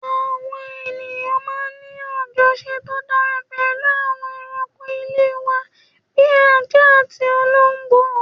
Àwa èèyàn máa ń ní àjọṣepọ̀ tó dára pẹ̀lú àwọn ẹranko ilé wa bí ajá àti olóńgbò